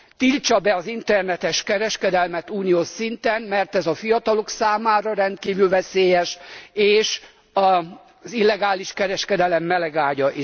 Tiltsa be az internetes kereskedelmet uniós szinten, mert ez a fiatalok számára rendkívül veszélyes, és az illegális kereskedelem melegágya.